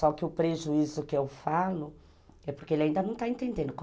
Só que o prejuízo que eu falo é porque ele ainda não está entendendo.